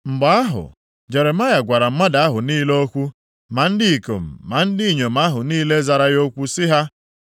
Mgbe ahụ, Jeremaya gwara mmadụ ahụ niile okwu, ma ndị ikom ma ndị inyom ahụ niile zara ya okwu sị ha,